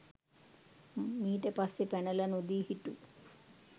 මීට පස්සේ පැනල නොදී හිටු